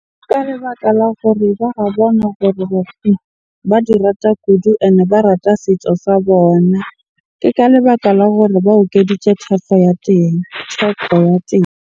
Ka lebaka la gore hore ba di rata kudu and ba rata setso sa bona. Ke ka lebaka la gore ba okeditse ya teng, theko ya teng.